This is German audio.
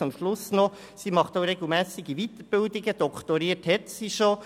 Zum Schluss noch Folgendes: Sie nimmt regelmässig an Weiterbildungen teil, doktoriert hat sie bereits.